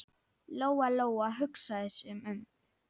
Lóa-Lóa hugsaði sig um.